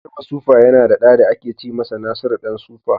Garba Super yana da ɗa da ake ce masa Nasuru ɗan sufa.